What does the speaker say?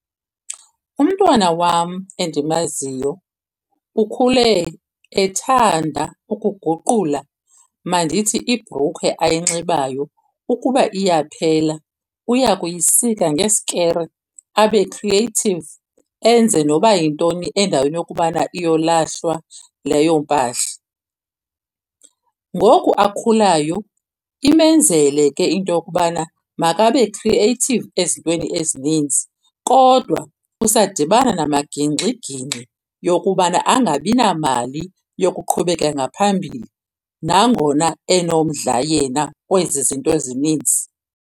Umntwana wam endimaziyo ukhule ethanda ukuguqula. Mandithi ibhrukhwe ayinxibayo ukuba iyaphela uya kuyisika ngeskere abe creative enze noba yintoni endaweni yokubana iyolahlwa leyo mpahla. Ngoku akhulayo imenzele ke into yokubana makabe creative ezintweni ezininzi, kodwa usadibana namagingxigingxi yokubana angabi namali yokuqhubeka ngaphambili, nangona enomdla yena kwezi zinto ezininzi.